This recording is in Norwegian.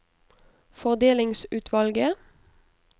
fordelingsutvalget